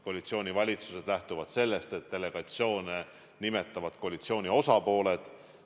Koalitsioonivalitsused lähtuvad sellest, et delegatsioone nimetavad koalitsiooni osapooled.